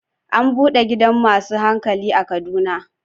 An bude gidan masu hankali a Kaduna.